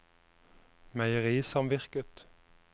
meierisamvirket